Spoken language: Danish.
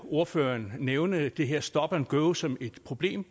ordføreren nævne det her stop and go som et problem